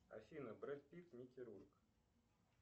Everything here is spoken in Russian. афина бред питт микки рурк